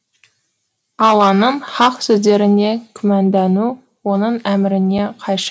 алланың хақ сөздеріне күмәндану оның әміріне қайшы